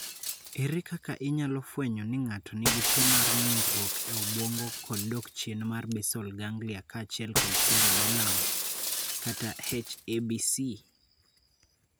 Ere kaka inyalo fweny ni ng�ato nigi tuo mar ng'ukruok e obuongo kod dok chien mar basal ganglia kaachiel kod cerebellum (H ABC)?